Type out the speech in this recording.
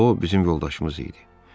O bizim yoldaşımız idi.